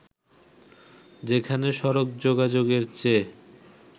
যেখানে সড়ক যোগাযোগের চেয়ে